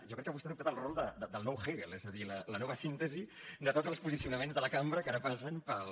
jo crec que vostè ha adoptat el rol del nou hegel és a dir la nova síntesi de tots els posicionaments de la cambra que ara passen pel